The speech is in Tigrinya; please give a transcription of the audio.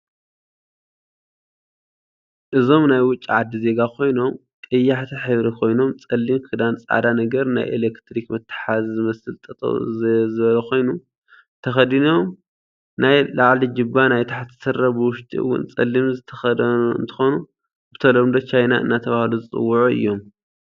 እዞም ናይ ውጭ ዓዲ ዜጋ ኮይኖም ቀያሓቲ ሕብሪ ኮይኖም ፀሊም ክዳን ፃዕዳ ነገር ናይ ኤለትርክ መተሓሓዚ ዝመስል ጠጠው ዝበለኮይኑ ተኪዲኖም ናይ ላዕሊጅባ ናይ ታሕቲ ስረ ብውሽጢ እውን ፀለም ዝተከደኖ እንትኮኑ ብተለምዶ ቻይና እደተበሃሉ ዝፅውዑ እዮም።